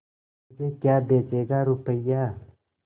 मुझे क्या बेचेगा रुपय्या